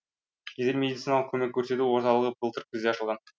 жедел медициналық көмек көрсету орталығы былтыр күзде ашылған